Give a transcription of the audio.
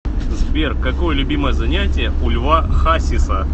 сбер какое любимое занятие у льва хасиса